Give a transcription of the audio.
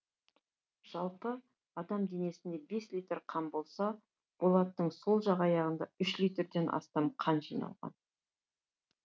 жалпы адам денесінде бес литр қан болса болаттың сол жақ аяғында үш литрден астам қан жиналған